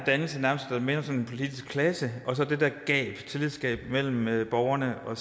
politisk klasse og så det der tillidsgab mellem mellem borgerne og